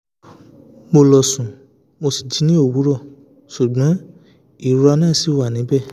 mo lọ sùn mo sì jí ní owurọ̀ ṣùgbọ́n ìrora náà ṣi wà níbẹ̀